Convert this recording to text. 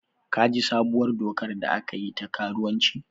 Ka ji sabuwar dokar da aka yi ta karuwanci?